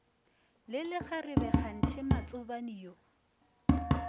le lekgarebe kganthe matsobane yo